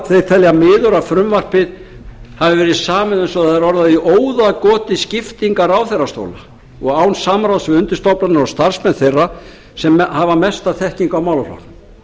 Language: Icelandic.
þeir telja miður að frumvarpið hafi verið samið eins og það er orðað í óðagoti skiptingar ráðherrastóla og án samráðs við undirstofnanir og starfsmenn þeirra sem hafa mesta þekkingu á málaflokknum